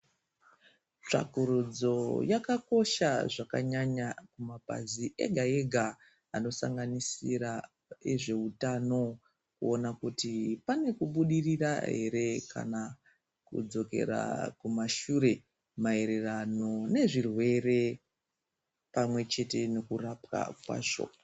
Tsvakurudzo Yakakosha zvakanyanya mabazi ega ega Anosanganisira ezveutano kuona kuti pane kubudirira ere kana kudzokera kumashure maererano nezvirwere pamwe chete nekurapwa kwazvo.